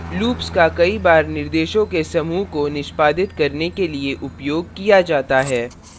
loops का कई बार निर्देशों के समूह को निष्पादित करने के लिए उपयोग किया जाता है